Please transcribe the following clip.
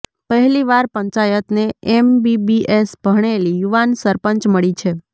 પહેલીવાર પંચાયતને એમબીબીએસ ભણેલી યુવાન સરપંચ મળી છે